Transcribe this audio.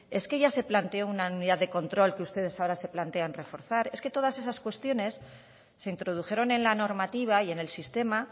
es que ya se planteó una unidad de control que ustedes ahora se plantean reforzar es que todas esas cuestiones se introdujeron en la normativa y en el sistema